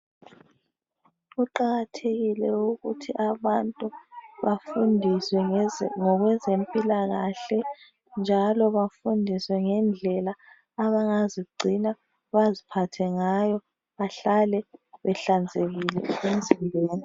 Kuqakathekile ukuthi abantu bafundiswe ngokwezempilakahle, njalo bafundiswe ngendlela abangazigcina baziphathe ngayo bahlale behlanzekile emzimbeni.